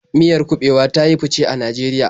Miyar kuɓewa ta yi fice a Najeriya.